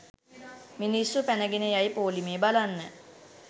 මිනිස්සු පැනගෙන යයි පොලිමේ බලන්න